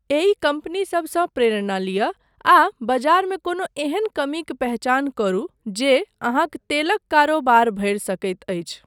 एहि कम्पनीसबसँ प्रेरणा लिअ आ बजारमे कोनो एहन कमीक पहिचान करू जे अहाँक तेलक कारोबार भरि सकैत अछि।